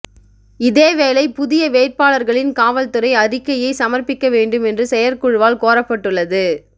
இதேவேளை புதிய வேட்பாளர்களின் காவல்துறை அறிக்கையை சமர்பிக்க வேண்டும் என்று செயற்குழுவால் கோரப்பட்டுள்ளது